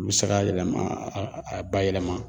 U be se k'a yɛlɛma a a a ba yɛlɛma